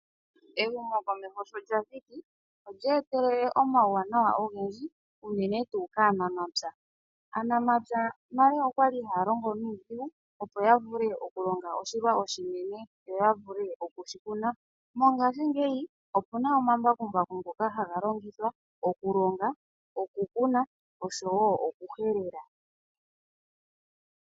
Ehumokomeho sho lya thiki, olyeetelele omauwanawa ogendji, unene tuu kaanamapya. Aanamapya nale oya li haya longo nuudhigu, opo ya vule okulonga oshilwa oshinene yo ya vule oku shi kuna. Mongashingeyi, opu na omambakumbaku ngoka haga longithwa okulonga, okukuna osho wo okuhelela.